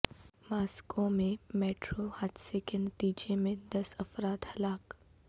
Moscow میں metro حادثے کے نتیجے میں دس افراد ہلاک